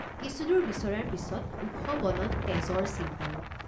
কিছুদূৰ বিচৰাৰ পিচত ওখ বনত তেজৰ চিন পালোঁ।